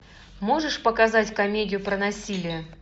можешь показать комедию про насилие